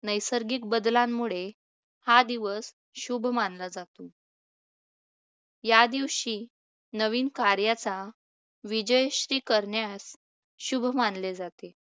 नैसर्गिक बदलांमुळे हा दिवस शुभ मानला जातो. या दिवशी नवीन कार्याचा विजयेष्टी करण्यात शुभ मानले जाते.